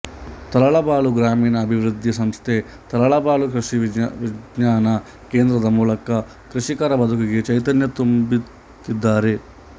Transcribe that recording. ತರಳಬಾಳು ಗ್ರಾಮೀಣ ಅಭಿವೃದ್ಧಿ ಸಂಸ್ಥೆ ತರಳಬಾಳು ಕೃಷಿ ವಿಜ್ಞಾನ ಕೇಂದ್ರದ ಮೂಲಕ ಕೃಷಿಕರ ಬದುಕಿಗೆ ಚೈತನ್ಯ ತುಂಬುತ್ತಿದ್ದಾರೆ